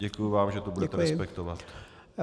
Děkuji vám, že to budete respektovat.